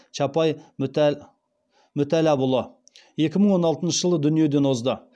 чапай мүтәллапұлы екі мың он алтыншы жылы дүниеден озды